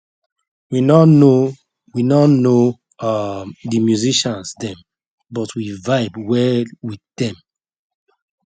we nor know we nor know um the musicians them but we vibe well with dem